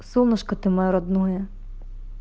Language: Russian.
солнышко ты моё родное